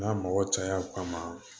N'a mɔgɔ caya kama